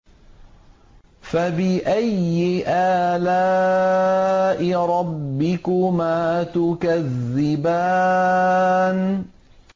فَبِأَيِّ آلَاءِ رَبِّكُمَا تُكَذِّبَانِ